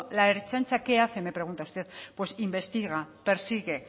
la ertzaintza qué hace me pregunta usted pues investiga persigue